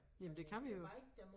Jamen det kan vi jo